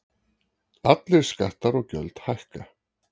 Allir skattar og gjöld hækka